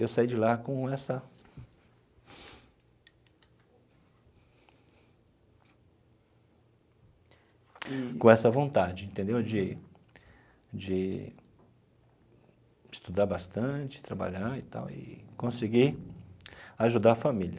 Eu saí de lá com essa com essa vontade entendeu de de estudar bastante, trabalhar e tal e conseguir ajudar a família.